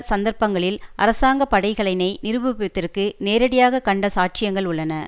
சந்தர்ப்பங்களில் அரசாங்க படைகளினை நிருபிப்பதற்கு நேரடியாக கண்ட சாட்சியங்கள் உள்ளன